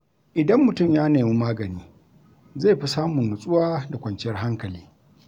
Idan mutum ya nemi magani, zai fi samun nutsuwa da kwanciyar hankali.